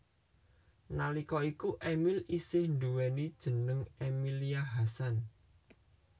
Nalika iku Emil isih nduwèni jeneng Emilia Hasan